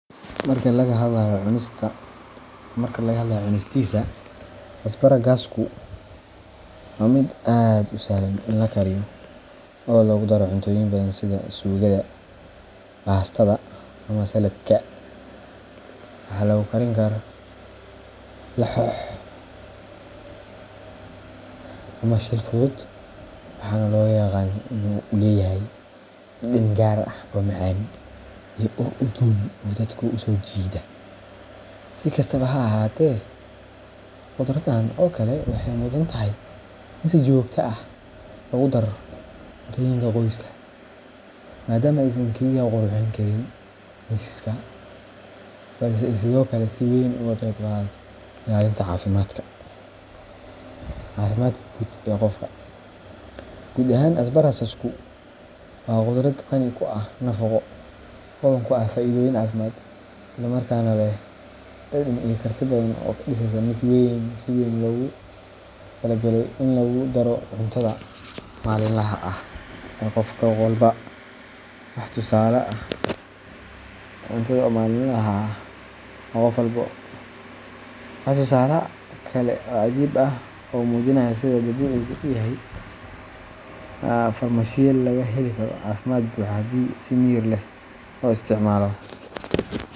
Marka laga hadlayo cunistiisa, asparagusku waa mid aad u sahlan in la kariyo oo lagu daro cuntooyin badan sida suugada, baastada, ama salad-ka. Waxaa lagu karin karaa laxoox ama shiil fudud, waxaana loo yaqaannaa in uu leeyahay dhadhan gaar ah oo macaan iyo ur udgoon oo dadka u soo jiida. Si kastaba ha ahaatee, khudraddan oo kale waxay mudan tahay in si joogto ah loogu daro cuntooyinka qoyska, maadaama aysan kaliya qurxin karin miiska, balse ay sidoo kale si weyn uga qayb qaadato ilaalinta caafimaadka guud ee qofka. Guud ahaan, asparagus waa khudrad qani ku ah nafaqo, hodan ku ah faa’iidooyin caafimaad, isla markaana leh dhadhan iyo karti badan oo ka dhigaysa mid si weyn loogu taliyay in lagu daro cuntada maalinlaha ah ee qof walba. Waa tusaale kale oo cajiib ah oo muujinaya sida dabiicigu u yahay farmashiye laga heli karo caafimaad buuxa haddii si miyir leh loo isticmaalo.